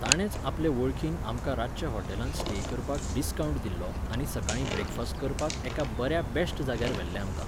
ताणेंच आपले वळखीन आमकां रातचे हॉटेलांत स्टे करपाक डिस्कावण्ट दिल्लो आनी सकाळीं ब्रेकफास्ट करपाक एका बऱ्या बॅश्ट जाग्यार व्हेल्लें आमकां